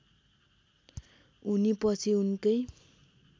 उनी पछि उनकै